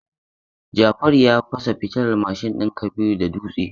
Jafaru ya fasa fitilar mashin din Kabiru da dutse.